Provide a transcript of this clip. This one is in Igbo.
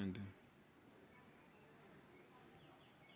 mma